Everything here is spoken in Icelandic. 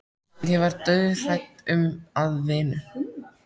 Ég var dauðhrædd um að vinur